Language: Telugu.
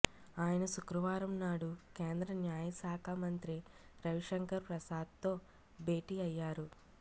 ఆయన శుక్రవారంనాడు కేంద్ర న్యాయశాఖ మంత్రి రవి శంకర్ ప్రసాద్తో భేటీ అయ్యారు